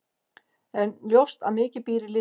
En ljóst að mikið býr í liðinu.